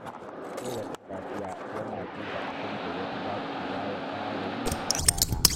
Kowace safiya, yana duba abin da ya fi dacewa ya fara yi a rana.